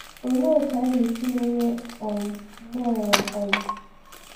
Olee otú anyị ga-esi merie um mmụọ ụwa? um